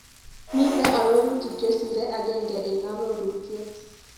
Miite arorutik chesire agenge eng arorutiet.